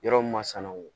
Yɔrɔ min masinaw